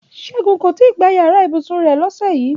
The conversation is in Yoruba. Ṣẹ́gun kò tí ì gbá yàrá ibùsùn rẹ̀ lọ́sẹ̀ yìí